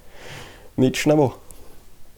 Nič ne bo.